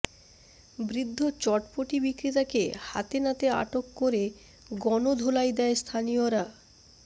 বৃদ্ধ চটপটি বিক্রেতাকে হাতেনাতে আটক করে গণধোলাই দেয় স্থানীয়রা